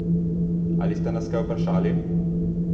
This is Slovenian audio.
Ali ste nas kaj vprašali?